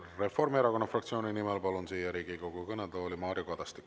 Reformierakonna fraktsiooni nimel siia Riigikogu kõnetooli kõnelema palun Mario Kadastiku.